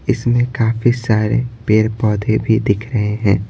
इसमें काफी सारे पेड़-पौधे भी दिख रहे हैं।